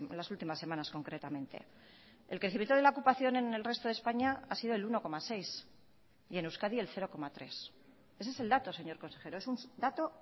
las últimas semanas concretamente el crecimiento de la ocupación en el resto de españa ha sido el uno coma seis y en euskadi el cero coma tres ese es el dato señor consejero es un dato